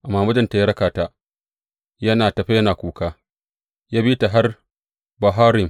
Amma mijin ya raka ta, yana tafe yana kuka, ya bi ta har Bahurim.